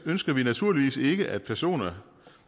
ønsker vi naturligvis ikke at personer